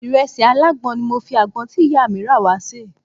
Ìrẹsì alágbọ̀n ni mo fi àgbọn tí ìyá mi rà wá ṣe.